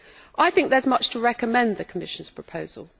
I think there is much to recommend the Commission's proposal.